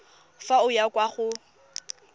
fa o ya kwa go